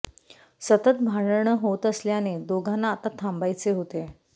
सतत भांडण होत असल्याने दोघांना आता थांबायचे होते